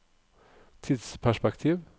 tidsperspektiv